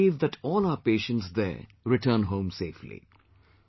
I firmly believe that all our patients there return home safely